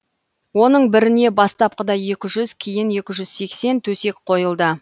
оның біріне бастапқыда екі жүз кейін екі жүз сексен төсек қойылды